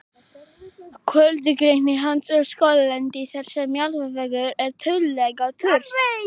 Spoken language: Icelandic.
kjörlendi hans er skóglendi þar sem jarðvegur er tiltölulega þurr